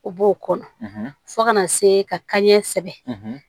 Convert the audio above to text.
O b'o kɔnɔ fo kana se ka kanɲɛ sɛbɛn